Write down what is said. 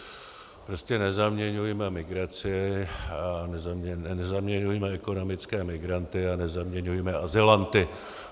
Prostě nezaměňujme migraci, nezaměňujme ekonomické migranty a nezaměňujme azylanty.